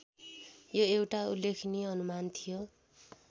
यो एउटा उल्लेखनीय अनुमान थियो